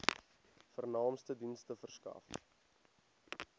vernaamste dienste verskaf